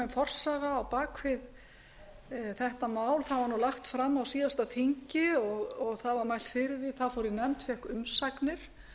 forsaga á bak við þetta mál það var lagt fram á síðasta þingi það var mælt fyrir því það fór í nefnd og fékk umsagnir